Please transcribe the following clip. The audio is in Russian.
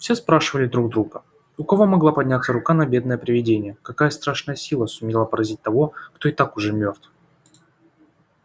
все спрашивали друг друга у кого могла подняться рука на бедное привидение какая страшная сила сумела поразить того кто и так уже мёртв